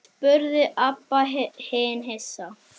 spurði Abba hin hissa.